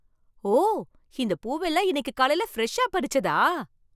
ஓ! இந்தப் பூவெல்லாம் இன்னிக்கு காலைல ஃப்ரெஷ்ஷா பறிச்சதா?